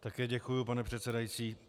Také děkuji, pane předsedající.